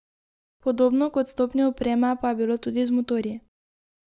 Podobno kot s stopnjo opreme pa je bilo tudi z motorji.